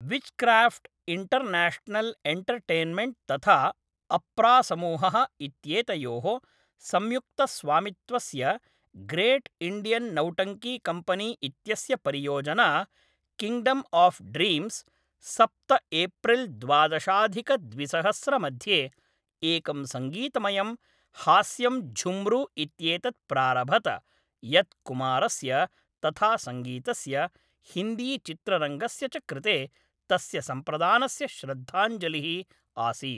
Wizcraft International Entertainment तथा अप्रा समूहः इत्येतयोः संयुक्तस्वामित्वस्य ग्रेट् इण्डियन् नौटंकी कम्पेनी इत्यस्य परियोजना किङ्ग्डम् आफ् ड्रीम्स्, सप्त एप्रिल् द्वादशाधिकद्विसहस्रमध्ये, एकं सङ्गीतमयं हास्यं झुम्रू इत्येतत् प्रारभत, यत् कुमारस्य तथा सङ्गीतस्य, हिन्दीचित्ररङ्गस्य च कृते तस्य सम्प्रदानस्य श्रद्धाञ्जलिः आसीत्।